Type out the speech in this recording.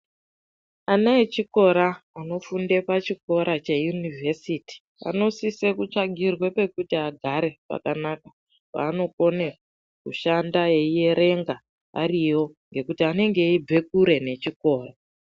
Ana echikora, anofunda pachikora cheUniversity anosise kuti vatsvagirwe pekuti agare pakanaka paanokone kushanda eierenga ariyo ngekuti anenge eibve kure nechikora.